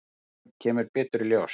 En það kemur betur í ljós.